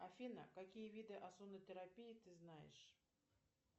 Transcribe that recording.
афина какие виды озонотерапии ты знаешь